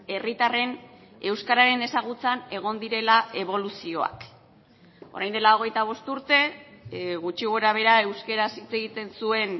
herritarren euskararen ezagutzan egon direla eboluzioak orain dela hogeita bost urte gutxi gorabehera euskaraz hitz egiten zuen